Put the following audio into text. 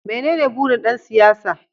Menene burin ɗan siyasa?